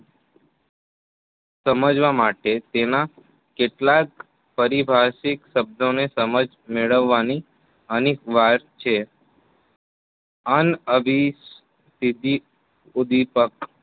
સમજવા માટે તેના કેટલાક પરિભાષિક શબ્દને સમજ મેળવવાની અનેક વાત છે. અનઅભી